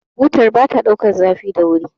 butar ba ta daukar zafi da wuri